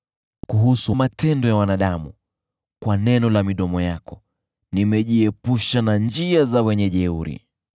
Kuhusu matendo ya wanadamu: kwa neno la midomo yako, nimejiepusha na njia za wenye jeuri.